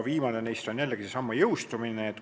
Viimane neist on jällegi seesama jõustumise ettepanek.